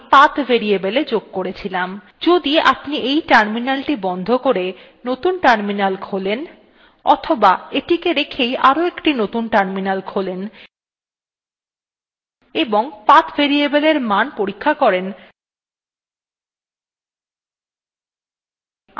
যদি আপনি এই terminal বন্ধ করে নতুন terminal খোলেন অথবা এটিকে রেখেই আরোএকটি নতুন terminal খোলেন এবং path variable এর মান পরীক্ষা করেন